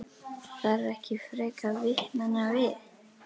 Það þarf ekki frekar vitnanna við.